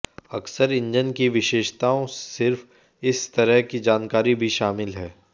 अक्सर इंजन की विशेषताओं सिर्फ इस तरह की जानकारी भी शामिल है